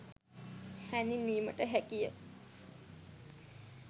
හැඳින්වීමට හැකිය